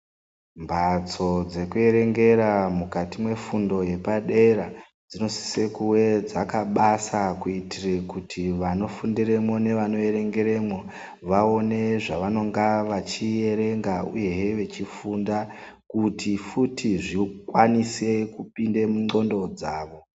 Mbatso dzekuerengera mukati mwefundo yepadera dzinosise kuve dzakabasa kuitire kuti vanofundiremwo nevanoerengeremwo aone zvavanonga vachierenga uyehe vechifunda kuti futi zvikwanise kupinde mundxondo dzavo.